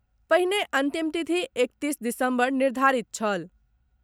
पहिने अंतिम तिथि एकतीस दिसम्बर निर्धारित छल।